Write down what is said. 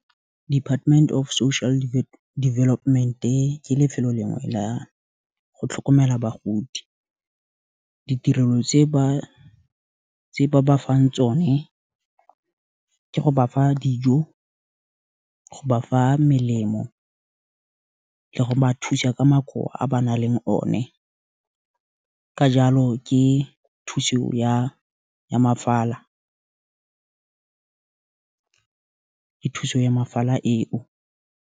Department of Social Development-e, ke lefelo lengwe la go tlhokomela bagodi, ditirelo tse ba ba fang tsone, ke go bafa dijo, go ba fa melemo, le go ba thusa ka makowa a ba nang le o ne, ka jalo ke thuso ya fala eo.